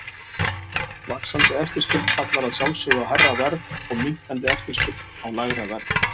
Vaxandi eftirspurn kallar að sjálfsögðu á hærra verð og minnkandi eftirspurn á lægra verð.